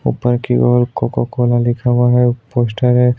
उपर की और कोक कोला दिख रहा है पोस्टर है।